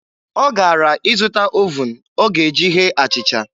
Ọ gara ịzụta ovuun ọ ga-eji ghee achịcha.